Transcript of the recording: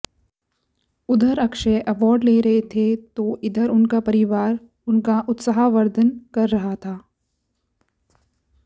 उधऱ Akshay award ले रहे थे तो इधर उनका परिवार उनका उत्साहवर्धन कर रहा था